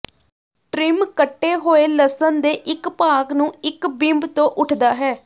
trim ਕੱਟੇ ਹੋਏ ਲਸਣ ਦੇ ਇੱਕ ਭਾਗ ਨੂੰ ਇਕ ਬਿੰਬ ਤੋਂ ਉੱਠਦਾ ਹੈ